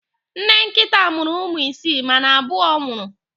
Nne nkịta a mụrụ ụmụ isii, mana abụọ nwụrụ.